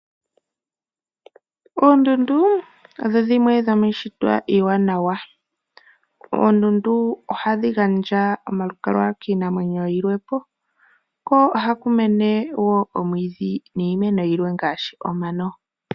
Oondundu odho dhimwe dhomishitwa iiwanawa, Oondundu ohadhi gandja omalukalwa kiinamwenyo yilwepo ko ohaku mene wo omwiidhi niimeno yilwe ngashi omano.